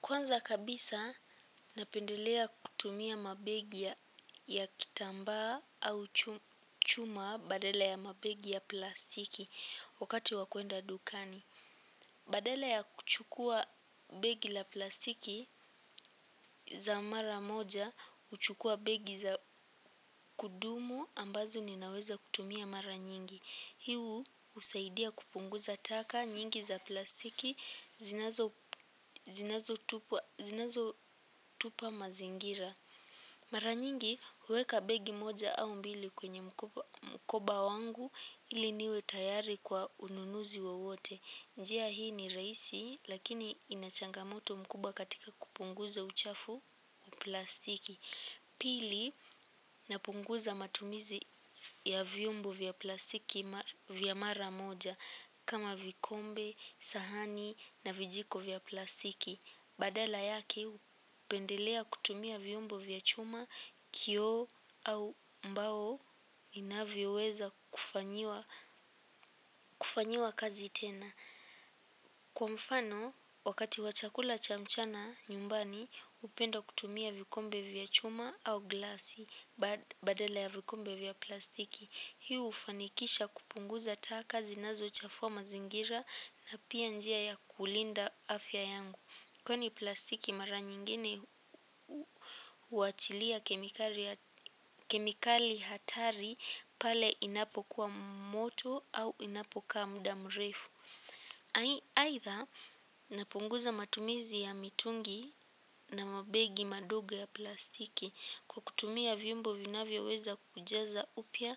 Kwanza kabisa napendelea kutumia mabegi ya kitambaa au chuma badela ya mabegi ya plastiki wakati wa kuenda dukani. Badala ya kuchukuwa begi la plastiki za mara moja, huchukuwa begi za kudumu ambazo ninaweza kutumia mara nyingi. Hii husaidia kupunguza taka nyingi za plastiki zinazotupa mazingira. Mara nyingi huweka begi moja au mbili kwenye mkoba wangu ili niwe tayari kwa ununuzi wowote njia hii ni rahisi lakini ina changamoto mkubwa katika kupunguza uchafu wa plastiki pili, napunguza matumizi ya vyombo vya plastiki vya mara moja kama vikombe, sahani na vijiko vya plastiki. Badala yake, hupendelea kutumia vyombo vya chuma, kio au mbao inavyoweza kufanyiwa kazi tena. Kwa mfano, wakati wa chakula cha mchana nyumbani hupenda kutumia vikombe vya chuma au glasi badala ya vikombe vya plastiki. Hii hufanikisha kupunguza taka zinazochafua mazingira na pia njia ya kulinda afya yangu. Kwani plastiki mara nyingine huachilia kemikali hatari pale inapokuwa moto au inapokaa muda mrefu aidha, napunguza matumizi ya mitungi na mabegi madogo ya plastiki. Kwa kutumia vyombo vinavyoweza kujaza upya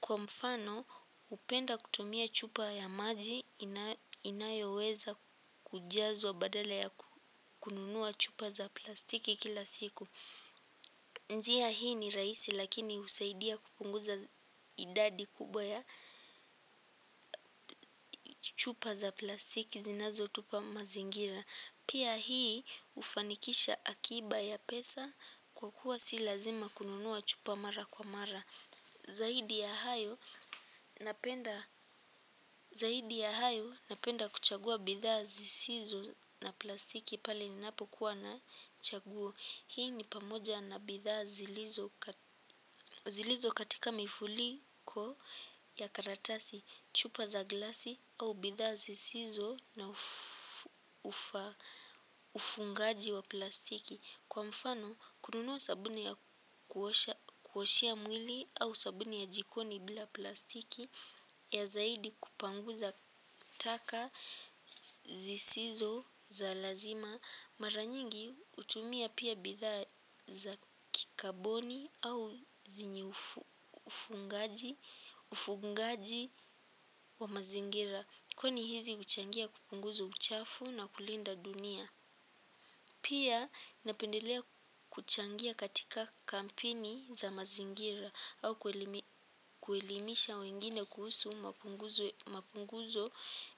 kwa mfano hupenda kutumia chupa ya maji inayoweza kujazwa badala ya kununua chupa za plastiki kila siku njia hii ni rahisi lakini husaidia kupunguza idadi kubwa ya chupa za plastiki zinazotupa mazingira. Pia hii hufanikisha akiba ya pesa kwa kuwa si lazima kununua chupa mara kwa mara. Zaidi ya zaidi ya hayo napenda kuchagua bidhaa zisizo za plastiki pale ninapokuwa na chaguo. Hii ni pamoja na bidhaa zilizokatika mifuliko ya karatasi, chupa za glasi au bidhaa zisizo na ufungaji wa plastiki. Kwa mfano kununua sabuni ya kuoshea mwili au sabuni ya jikoni bila plastiki ya zaidi kupanguza taka zisizo za lazima. Mara nyingi hutumia pia bidhaa za kikaboni au zenye ufungaji wa mazingira. Kwani hizi huchangia kupunguza uchafu na kulinda dunia pia, napendelea kuchangia katika kampeni za mazingira au kuelimisha wengine kuhusu mapunguzo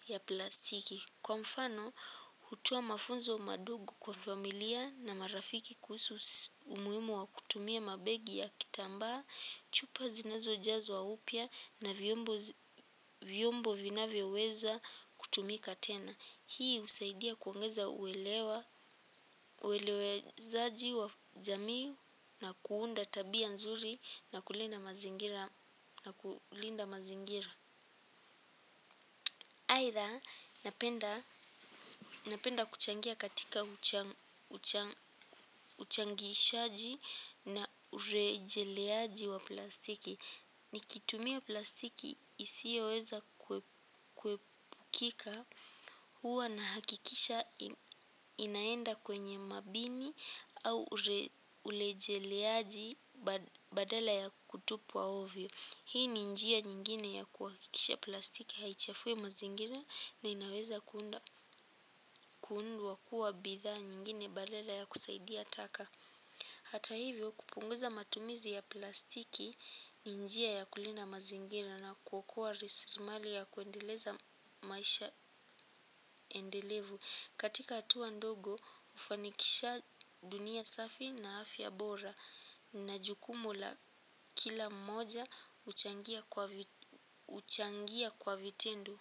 ya plastiki kwa mfano, hutoa mafunzo madogo kwa familia na marafiki kuhusu umuhimu wa kutumia mabegi ya kitambaa, chupa zinazojazwa upya na vyombo vyombo vinavyoweza kutumika tena. Hii husaidia kuongeza uelewezaji wa jamii na kuunda tabia nzuri na kulinda mazingira. Aidha, napenda kuchangia katika uchangishaji na urejeleaji wa plastiki. Nikitumia plastiki isioweza kuepukika huwa na hakikisha inaenda kwenye mabini au urejeleaji badala ya kutupwa ovyo. Hii ni njia nyingine ya kuhakisha plastiki haichafui mazingira na inaweza kuundwa kuwa bidhaa nyingine badala ya kusaidia taka. Hata hivyo kupunguza matumizi ya plastiki ni njia ya kulinda mazingira na kuokoa rasilimali ya kuendeleza maisha endelevu. Katika hatua ndogo hufanikisha dunia safi na afya bora na jukumu la kila mmoja huchangia kwa vitendo.